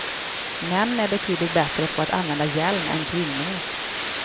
Män är betydligt bättre på att använda hjälm än kvinnor.